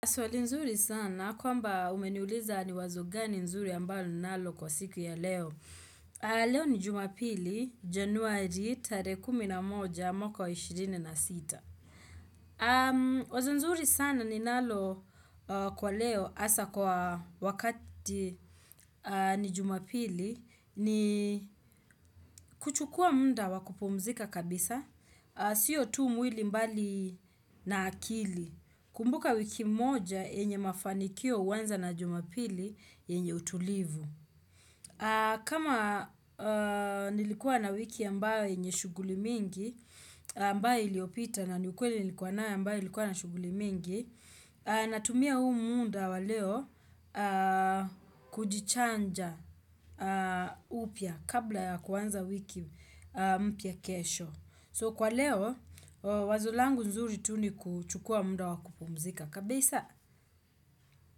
Swali nzuri sana, kwamba umeniuliza ni wazo gani nzuri ambayo ninalo kwa siku ya leo. Leo ni jumapili, Januari, tare kumi na moja, mwaka wa ishirini na sita. Wazo nzuri sana ninalo kwa leo, hasa kwa wakati ni Jumapili, ni kuchukuwa muda wakupumzika kabisa, siyo tu mwili mbali na akili. Kumbuka wiki moja yenye mafanikio huwanza na Jumapili yenye utulivu. Kama nilikuwa na wiki ambayo yenye shughuli mingi, ambayo iliyopita nani ukweli nilikuwa na ambayo ilikuwa na shughuli mingi, natumia huu muda wa leo kujichanja upya kabla ya kuanza wiki mpya kesho. So kwa leo, wazulangu nzuri tu nikuchukua muda wakupomzika kabisa.